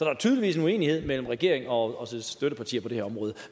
er tydeligvis en uenighed mellem regeringen og dens støttepartier på det her område